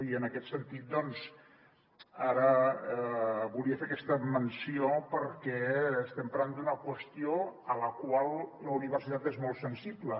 i en aquest sentit doncs ara volia fer aquesta menció perquè estem parlant d’una qüestió a la qual la universitat és molt sensible